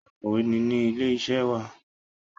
Akọ̀wé ni ní ilé iṣẹ́ wa.